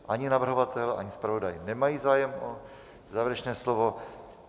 Ani navrhovatel, ani zpravodaj nemají zájem o závěrečné slovo.